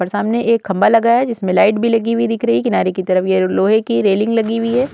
और सामने एक खंभा लगा है जिसमें लाइट भी लगी हुई दिख रही है। किनारे की तरफ ये लोहे की रेलिंग लगी हुई है।